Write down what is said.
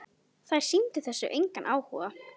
Þær sýndu þessu engan áhuga.